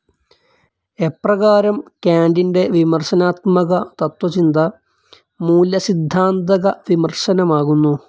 എപ്രകാരം കാൻ്റിൻ്റെ വിമർശനാത്മക തത്വചിന്ത മൂല്യസിദ്ധാന്തക വിമർശനമാകുന്നു.